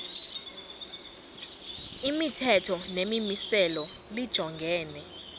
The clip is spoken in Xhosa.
imithetho nemimiselo lijongene